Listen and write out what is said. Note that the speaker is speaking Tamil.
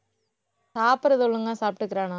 சாப்பிடுறது ஒழுங்கா சாப்பிட்டுக்கிறானா?